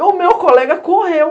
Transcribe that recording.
E o meu colega correu.